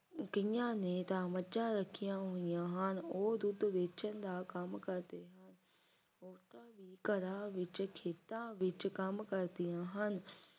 ਕਈਆਂ ਨੇ ਤਾਂ ਮੱਝਾਂ ਰੱਖੀਆਂ ਹੋਈਆਂ ਹਨ ਉਹ ਦੁੱਧ ਵੇਚਣ ਦਾ ਕੰਮ ਕਰਦੇ ਹਨ ਔਰਤਾਂ ਵੀ ਘਰਾਂ ਵਿੱਚ ਖੇਤਾਂ ਵਿੱਚ ਕੰਮ ਕਰਦੀਆਂ ਹਨ